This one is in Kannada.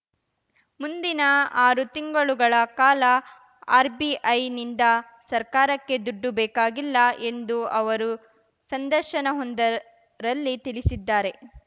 ಮುಂದಿನ ಆರು ತಿಂಗಳುಗಳ ಕಾಲ ಆರ್‌ಬಿಐನಿಂದ ಸರ್ಕಾರಕ್ಕೆ ದುಡ್ಡು ಬೇಕಾಗಿಲ್ಲ ಎಂದು ಅವರು ಸಂದರ್ಶನವೊಂದರಲ್ಲಿ ತಿಳಿಸಿದ್ದಾರೆ